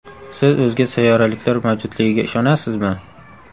Siz o‘zga sayyoraliklar mavjudligiga ishonasizmi?